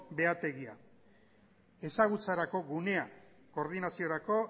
behategian ezagutzarako gunea koordinaziorako